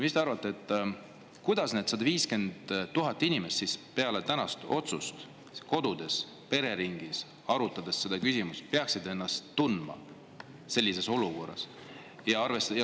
Mis te arvate, kuidas need 150 000 inimest peale tänast otsust peaksid kodus pereringis seda küsimust arutades ennast sellises olukorras tundma?